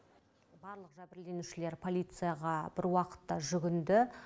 барлық жәбірленушілер полицияға бір уақытта жүгінді